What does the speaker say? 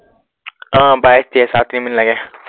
আহ বাইশ তেইশ আৰু তিনি মিনিট লাগে।